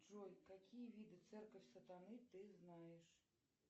джой какие виды церковь сатаны ты знаешь